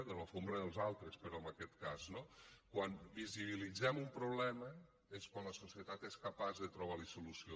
de la catifa dels altres però en aquest cas no quan visibilitzem un problema és quan la societat és capaç de trobar hi solució